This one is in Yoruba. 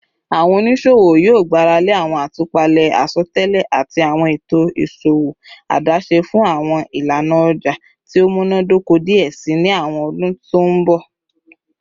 Awọn oniṣowo yoo gbarale awọn atupale asọtẹlẹ ati awọn eto iṣowo adaṣe fun awọn ilana ọja ti o munadoko diẹ sii ni awọn ọdun to n bọ